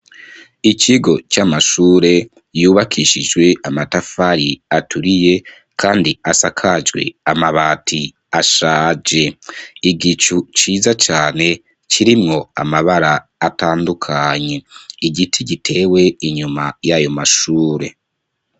Ikigo c'amashure yubakishijwe amatafari aturiye kandi asakajwe amabati ashaje igicu ciza cane kirimwo amabara atandukanye igiti gitewe inyuma y'ayo mashure.